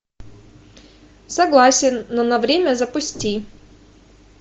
согласен но на время запусти